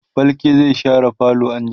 falke zai share falo anjima